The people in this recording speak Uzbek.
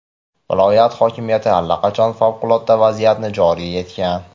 Viloyat hokimiyati allaqachon favqulodda vaziyatni joriy etgan.